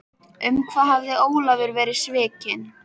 Um hvað hafði Ólafur verið svikinn?